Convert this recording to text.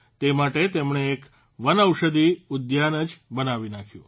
તે માટે તેમણે એક વનૌષધિ ઉદ્યાન જ બનાવી નાંખ્યું